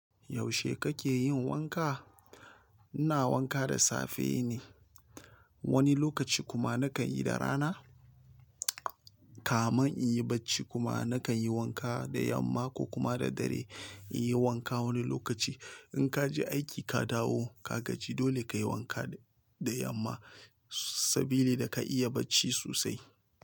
Yaushe kake yin wanka? Ina wanka da safe ne, wani lokaci kuma nakan yi da rana. Kaman in yi barci kuma nakan yi wanka da yamma ko kuma da dare. In yi wanka wani lokaci, in ka je aiki ka dawo ka gaji dole kayi wanka da yamma saboda ka iya barci sosai.